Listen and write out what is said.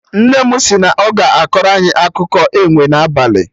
Nne mụ si na ọ ga-akọrọ anyị akụkọ enwe na abalị